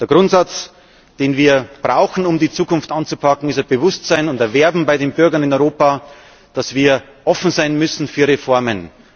Der Grundsatz, den wir brauchen, um die Zukunft anzupacken, ist ein Bewusstsein und ein Werben bei den Bürgern in Europa dafür, dass wir offen sein müssen für Reformen.